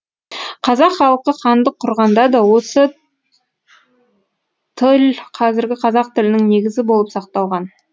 қазақ халқы хандық құрғанда да осы тіл қазіргі қазақ тілінің негізі болып сақталған